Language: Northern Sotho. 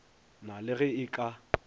na le ge e ka